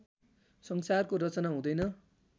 संसारको रचना हुँदैन